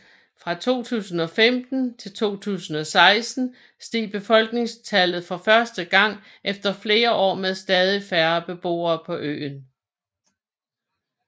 Fra 2015 til 2016 steg befolkningstallet for første gang efter flere år med stadig færre beboere på øen